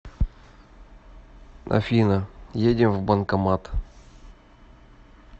афина едем в банкомат